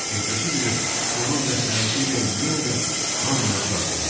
Ertəsi günü onun məsləhəti ilə yenə də hamını çağırdılar.